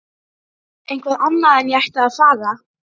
Eitthvað annað en að ég ætti að fara.